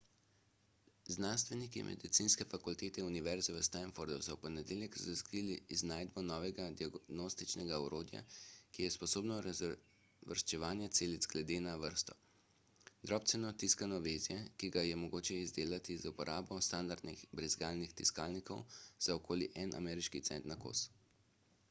znanstveniki medicinske fakultete univerze v stanfordu so v ponedeljek razglasili iznajdbo novega diagnostičnega orodja ki je sposobno razvrščanja celic glede na vrsto drobceno tiskano vezje ki ga je mogoče izdelati z uporabo standardnih brizgalnih tiskalnikov za okoli en ameriški cent na kos